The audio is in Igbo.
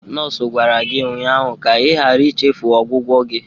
Nọọsụ gwara gị ụnyaahụ ka ịghara ichefu ọgwụgwọ gị!